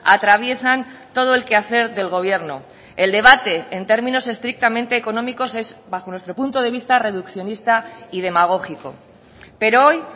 atraviesan todo el quehacer del gobierno el debate en términos estrictamente económicos es bajo nuestro punto de vista reduccionista y demagógico pero hoy